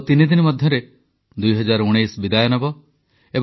• ଆର୍ଥିକ ବିକାଶରେ ସହାୟକ ଆତ୍ମନିର୍ଭରଶୀଳ ମହିଳା ଗୋଷ୍ଠୀଙ୍କୁ ପ୍ରଶଂସା